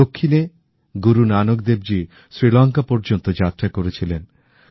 দক্ষিনে গুরু নানক দেবজী শ্রীলংকা পর্যন্ত যাত্রা করেছিলেন